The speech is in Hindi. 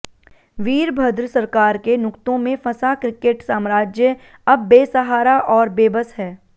वीरभद्र सरकार के नुक्तों में फंसा क्रिकेट साम्राज्य अब बेसहारा और बेबस है